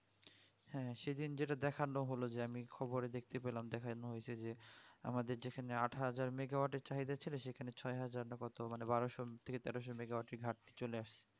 হ্যাঁ সেদিন যেটা দেখালো যে আমি খবরে দেখতে পেলাম দেখানো হয়েছে যে আমাদের যেখানে আটহাজার mega watt এর চাহিদা ছিল সেখানে ছয়হাজার না কত বারোসো কি তেরোশো mega watt এর ঘাটতি চলে আসে